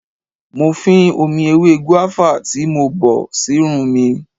Mo fín omi ewé gùáfà tí mo bọ̀ sírun mi.